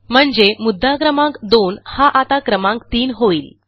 म्हणजे मुद्दा क्रमांक 2 हा आता क्रमांक 3 होईल